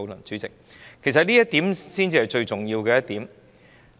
主席，這才是最重要的一點。